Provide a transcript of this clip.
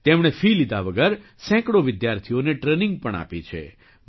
તેમણે ફી લીધા વગર સેંકડો વિદ્યાર્થીઓને ટ્રેનિંગ પણ આપી છે